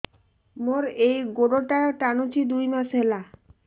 ମୋର ଏଇ ଗୋଡ଼ଟା ଟାଣୁଛି ଦୁଇ ମାସ ହେଲା